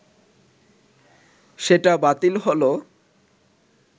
সেটা বাতিল হলো